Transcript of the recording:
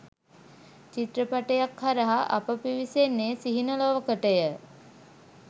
චිත්‍රපටයක් හරහා අප පිවිසෙන්නේ සිහින ලොවකටය.